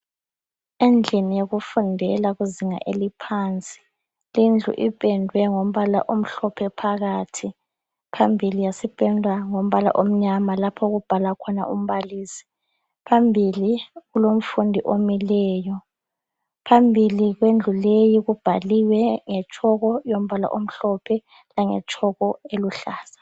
Endlini yokufundela kuzinga eliphansi lindlu ipendwe ngombala omhlophe phakathi, phambili yasipendwa ngombala omnyama lapho okubhala khona umbalisi. Phambili kulomfundi omileyo. Phambili kwendlu leyi kubhaliwe ngetshoko yombala omhlophe langetshoko eluhlaza.